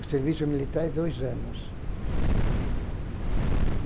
O serviço militar é dois anos.